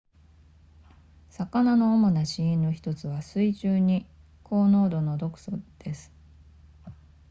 魚の主な死因の1つは水中に高濃度の毒素です